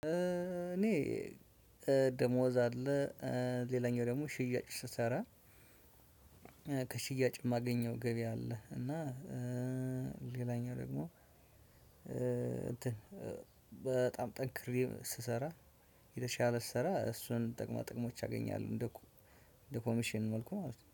እኔ ደሞዝ አለ። ሌላኛው ደግሞ ሽያጭ ስሰራ ከሽያጭ የማገኘው ገበያ አለ። እና ሌላኛው ደግሞ እንትን በጣም ጠንክሬ ስሰራ የተሻለ ስሰራ እሱን ጠቅማ ጠቅሞች አገኛለሁ። እንደ ኮሚሽን መልኩ ማለት ነው